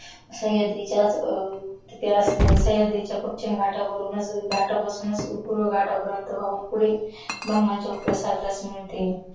सह्याद्रीच्या पचिम घाटापासूनच पूर्व घाटा पर्यन्त वाहून पुढे बंगालच्या उपसागरस मिळते